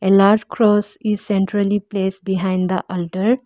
a large cross is centrally place behind the alter.